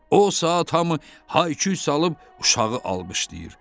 O saat hamı hay-küy salıb uşağı alqışlayır.